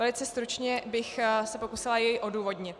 Velice stručně bych se pokusila jej odůvodnit.